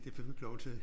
Det fik du ikke lov til